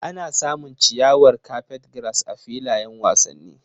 Ana samun ciyawar carpetgrass a filayen wasanni.